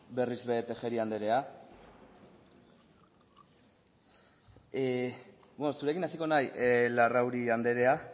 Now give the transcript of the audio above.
berriz ere tejeria andrea beno zurekin hasiko naiz larrauri andrea